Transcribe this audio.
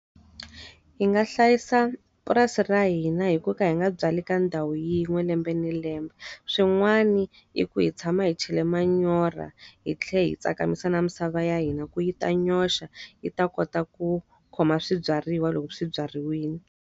Hi nga hlayisa purasi ra hina hi ku va ka hi nga byali ka ndhawu yin'we lembe ni lembe. Swin'wana i ku hi tshama hi chela manyoro hi tlhela hi tsakamisa na misava ya hina ku yi ta nyoxa, yi ta kota ku khoma swibyariwa loko swi byariwile.